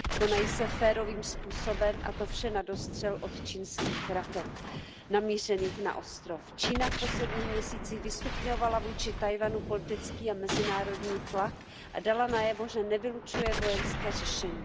Konají se férovým způsobem a to vše na dostřel od čínských raket namířených na ostrov. Čína v posledních měsících vystupňovala vůči Tchaj wanu politický a mezinárodní tlak a dala najevo, že nevylučuje vojenské řešení.